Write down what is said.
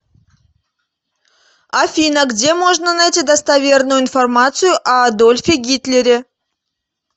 афина где можно найти достоверную информацию о адольфе гитлере